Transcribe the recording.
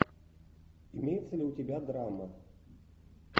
имеется ли у тебя драма